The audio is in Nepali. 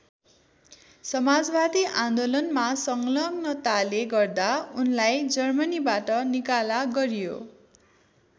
समाजवादी आन्दोलनमा संलग्नताले गर्दा उनलाई जर्मनीबाट निकाला गरियो।